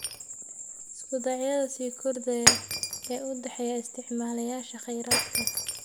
Isku dhacyada sii kordhaya ee u dhexeeya isticmaalayaasha kheyraadka.